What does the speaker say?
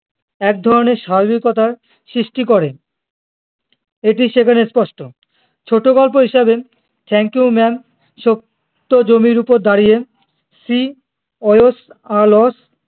এক ধরনের স্বাভাবিকতার সৃষ্টি করে এটি সেখানে স্পষ্ট ছোট গল্প হিসাবে thank you ma'am ছোট্ট জমির উপর দাঁড়িয়ে shewasalarge